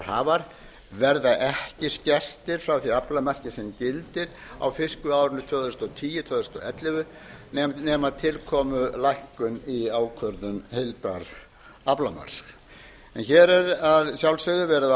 aflahlutdeildarhafar verða ekki skertir frá því aflamarki sem gildir á fiskveiðiárinu tvö þúsund og tíu til tvö þúsund og ellefu nema til komi lækkun í ákvörðun heildaraflamarks en hér er að sjálfsögðu verið að